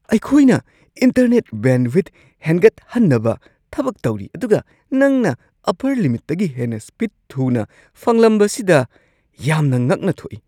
ꯑꯩꯈꯣꯏꯅ internet bandwidth ꯍꯦꯟꯒꯠꯍꯟꯅꯕ ꯊꯕꯛ ꯇꯧꯔꯤ ꯑꯗꯨꯒ ꯅꯪꯅ ꯑꯄꯔ ꯂꯤꯃꯤꯠꯇꯒꯤ ꯍꯦꯟꯅ ꯁ꯭ꯄꯤꯗ ꯊꯨꯅ ꯐꯪꯂꯝꯕꯁꯤꯗ ꯌꯥꯝꯅ ꯉꯛꯅ ꯊꯣꯛꯏ ꯫